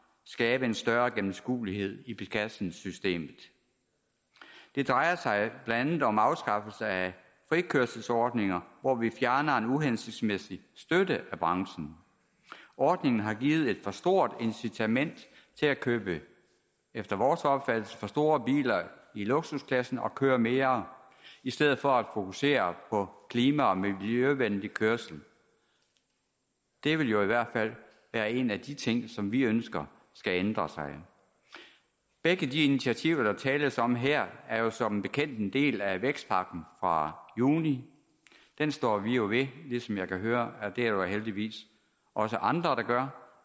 skabe en større gennemskuelighed i beskatningssystemet det drejer sig blandt andet om afskaffelse af frikørselsordningen hvor vi fjerner en uhensigtsmæssig støtte af branchen ordningen har givet et for stort incitament til at købe efter vores opfattelse for store biler i luksusklassen og køre mere i stedet for at fokusere på klima og miljøvenlig kørsel det vil jo i hvert fald være en af de ting som vi ønsker skal ændres begge de initiativer der tales om her er jo som bekendt en del af vækstpakken fra juni den står vi ved ligesom jeg kan høre at der heldigvis også er andre der gør